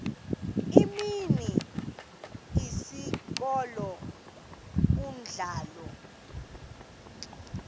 imini isikolo umdlalo